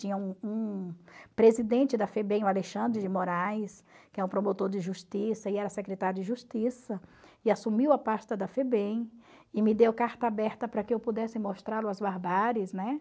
Tinha um presidente da FEBEM, o Alexandre de Moraes, que é um promotor de justiça e era secretário de justiça, e assumiu a pasta da FEBEM e me deu carta aberta para que eu pudesse mostrar as barbáries.